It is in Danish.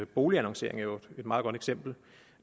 boligannoncering jo et meget godt eksempel og